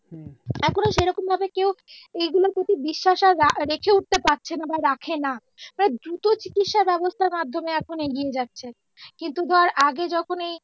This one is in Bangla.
এইগুলো প্রতি বিশ্বাস আর রেখেও উঠতে পারছে নাহ বা রাখেনা মানে দ্রুত চিকিৎসার ব্যবস্থার মাধ্যমে এখন এগিয়ে যাচ্ছে কিন্তু ধর আগে যখন